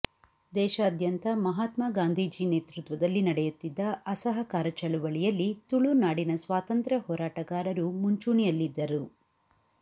ದೇಶಾದ್ಯಂತ ಮಹಾತ್ಮಾ ಗಾಂಧೀಜಿ ನೇತೃತ್ವದಲ್ಲಿ ನಡೆಯುತ್ತಿದ್ದ ಅಸಹಕಾರ ಚಳವಳಿಯಲ್ಲಿ ತುಳುನಾಡಿನ ಸ್ವಾತಂತ್ರ್ಯ ಹೋರಾಟಗಾರರು ಮುಂಚೂಣಿಯಲ್ಲಿದ್ದರು